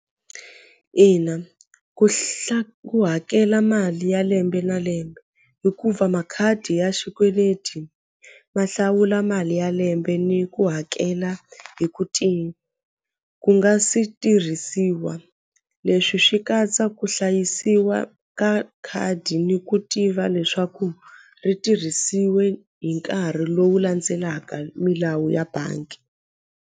Ina ku ku hakela mali ya lembe na lembe hikuva makhadi ya xikweleti ma hlawula mali ya lembe ni ku hakela hi ku ti ku nga si tirhisiwa leswi swi katsa ku hlayisiwa ka khadi ni ku tiva leswaku ri tirhisiwe hi nkarhi lowu landzelaka milawu ya bangi.